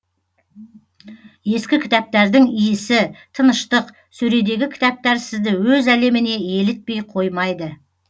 ескі кітаптардың иісі тыныштық сөредегі кітаптар сізді өз әлеміне елітпей қоймайды